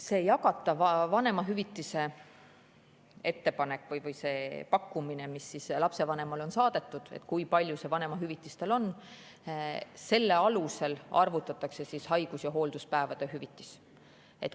See jagatava vanemahüvitise ettepanek või see pakkumine, mis lapsevanemale on saadetud, kui suur tema vanemahüvitis on – selle alusel arvutatakse haigus- ja hoolduspäevade hüvitis.